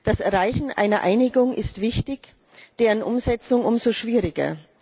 Das Erreichen einer Einigung ist wichtig, deren Umsetzung umso schwieriger.